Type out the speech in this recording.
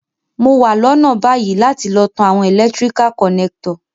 Mo wa lónà bayi láti lo tan àwon electrical connector